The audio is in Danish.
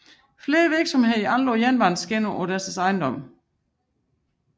Flere virksomheder anlagde jernbaneskinner ind på deres ejendomme